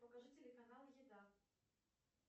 покажи телеканал еда